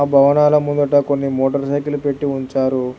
భవనాల ముంగట కొన్ని మోటార్సైకిల్ పెట్టి ఉంచారు.